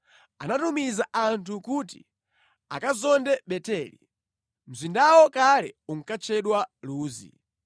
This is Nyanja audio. Anatumiza anthu kuti akazonde Beteli. Mzindawo kale unkatchedwa Luzi.